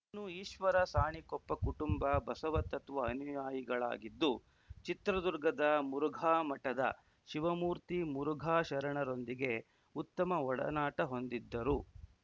ಇನ್ನು ಈಶ್ವರ ಸಾಣಿಕೊಪ್ಪ ಕುಟುಂಬ ಬಸವ ತತ್ವ ಅನುಯಾಯಿಗಳಾಗಿದ್ದು ಚಿತ್ರದುರ್ಗದ ಮುರುಘಾಮಠದ ಶಿವಮೂರ್ತಿ ಮುರುಘಾ ಶರಣರೊಂದಿಗೆ ಉತ್ತಮ ಒಡನಾಟ ಹೊಂದಿದ್ದರು